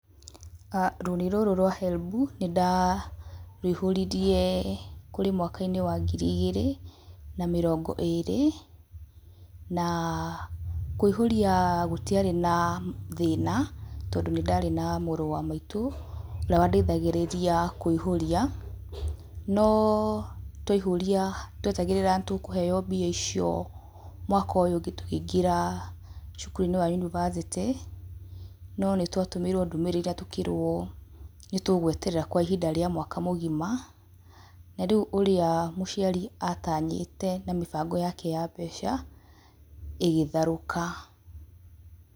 Aah Rũni rũrũ rwa HELB nĩ ndarũihũririe kũrĩ mwaka-inĩ wa ngiri igĩrĩ na mĩrongo ĩrĩ, na kũihũria gũtiarĩ na thĩna tondũ nĩ ndarĩ na mũrũ wa maitũ, ũrĩa wa ndeithagĩrĩria kũiyũria, no twaihũria nĩ twetagĩrĩra nĩ tũkũheo mbia icio mwaka ũyũ ũngĩ tũkĩingĩra cukuru-inĩ wa unibacĩtĩ no nĩ twatũmĩirwo ndũmĩrĩri na tũkĩrwo nĩ tũ gweterera kwa ihinda rĩa mwaka mũgima na rĩu ũrĩa mũciari atanyĩte na mĩbango yake ya mbeca ĩgĩtharũka.